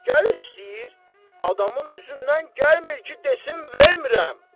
Gəlir, istəyir, adamın üzündən gəlmir ki, desin vermirəm.